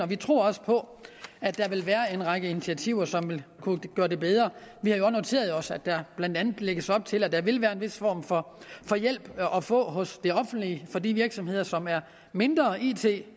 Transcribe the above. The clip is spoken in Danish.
vi tror også på at der vil være en række initiativer som vil kunne gøre det bedre og noteret os at der blandt andet lægges op til at der vil være en vis form for for hjælp at få hos det offentlige for de virksomheder som er mindre it